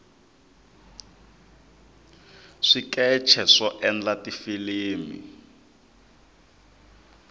swikeche swo endlela tifilimi